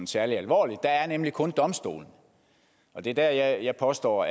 særlig alvorligt der er nemlig kun domstolene og det er der at jeg påstår